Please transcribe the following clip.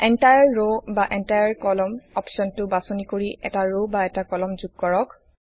entire row বা entire column অপশ্বনটো বাচনি কৰি এটা ৰ বা এটা কলাম যোগ কৰক